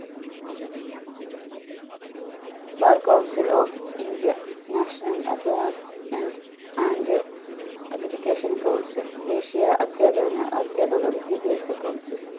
bar coucil of india national assessment and aggregation council ദേശിയ അധ്യാപന അധ്യാപക വിദ്യാഭ്യാസ council